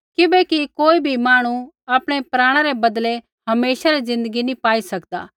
किबैकि कोई भी मांहणु आपणै प्राणा रै बदलै हमेशा री ज़िन्दगी नी पाई सकदा